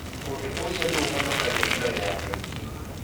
Ũndũ ũcio nĩ ũhonokagia mĩoyo ya andũ aingĩ.